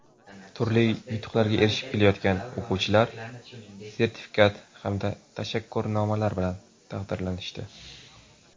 turli yutuqlarga erishib kelayotgan o‘quvchilar sertifikat hamda tashakkurnomalar bilan taqdirlanishdi.